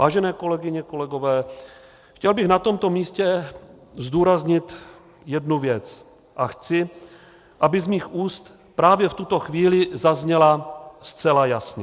Vážené kolegyně, kolegové, chtěl bych na tomto místě zdůraznit jednu věc, a chci, aby z mých úst právě v tuto chvíli zazněla zcela jasně.